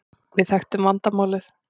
Við þekktum vandamálið.